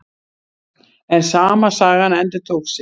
En sama sagan endurtók sig.